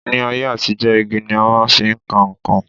Ní ayé àtijọ́, igi ni a máa fi ń ka nǹkan